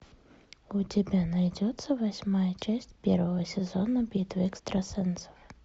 у тебя найдется восьмая часть первого сезона битва экстрасенсов